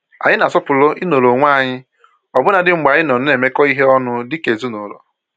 Anyị na-asọpụrụ i nọrọ onwe anyị ọbụnadị mgbe anyị nọ na-emekọ ihe ọnụ dika ezinụlọ.